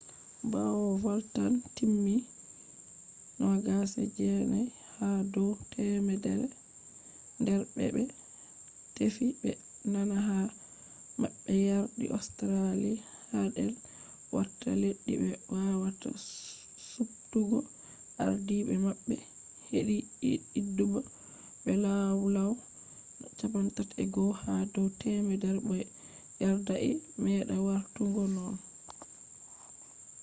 bawo zabe timmi 29 ha dow temerre der be bé tefi be nana ha mabbeyardi australia hadi warta leddi be wawata suptugo ardiide mabbe hedi zabe be law-law 31 ha dow temerre bo yerdai meda wartugo nonnon